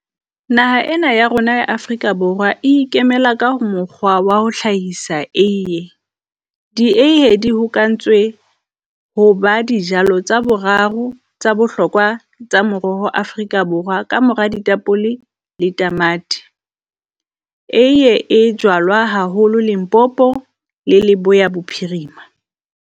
Naha ena ya rona ya Afrika Borwa e ikemela ka mokgwa wa ho hlahisa eiee, di eiee di hokahantswe ho ba dijalo tsa boraro tsa bohlokwa tsa moroho Afrika Borwa Ka mora ditapole le tamati. Eiee jwalwa haholo Limpopo le Leboea Bophirima.